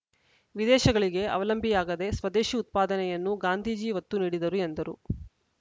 ವಿದೇಶಗಳಿಗೆ ಅವಲಂಬಿಯಾಗದೆ ಸ್ವದೇಶಿ ಉತ್ಪಾದನೆಯನ್ನು ಗಾಂಧೀಜಿ ಒತ್ತು ನೀಡಿದ್ದರು ಎಂದರು